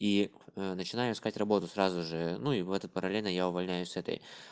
и начинаю искать работу сразу же ну и в этот параллельно я увольняюсь с этой